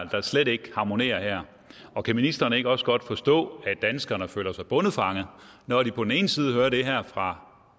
der slet ikke harmonerer og kan ministeren ikke også godt forstå at danskerne føler sig bondefangede når de på den ene side hører det her fra